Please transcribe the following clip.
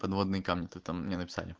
подводные камни то там не написали